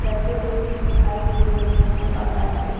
रखे हुए भी दिखाई दे रहे हैं बाहर पे --